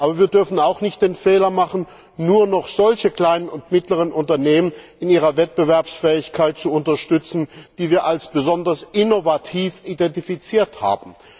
Aber wir dürfen auch nicht den Fehler machen, nur noch solche kleinen und mittleren Unternehmen in ihrer Wettbewerbsfähigkeit zu unterstützen, die wir als besonders innovativ identifiziert haben.